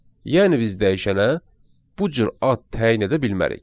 Yəni biz dəyişənə bu cür ad təyin edə bilmərik.